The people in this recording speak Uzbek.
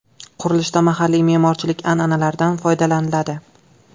Qurilishda mahalliy me’morchilik an’analaridan foydalaniladi.